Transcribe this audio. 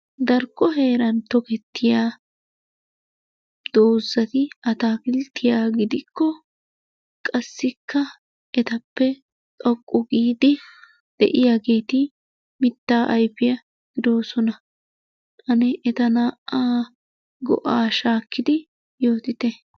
Darkko heeran tokettiya doozzati ataakilttiyaa gidikko qassikka etappe xoqqu giidi de"iyaageeti mittaa ayfiyaa gidoosona. Ane eta naa'aa go'aa shaakkidi yootite.